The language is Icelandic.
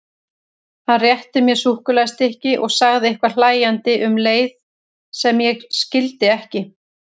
Hann rétti mér súkkulaðistykki og sagði eitthvað hlæjandi um leið sem ég skildi ekki.